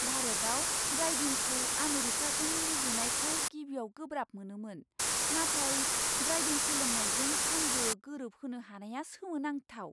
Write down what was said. भारताव ड्राइभिंखौ आमेरिकाजों रुजुनायखौ गिबियाव गोब्राब मोनोमोन, नाथाय ड्राइभिं सोलोंनायजों, आंबो गोरोबहोनो हानाया सोमोनांथाव!